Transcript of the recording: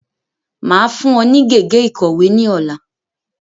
Máa fún ọ ní gègé ìkọ̀wé ní ọ̀la.